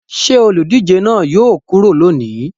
Ṣé olùdíje náà yóò kúrò lónìí?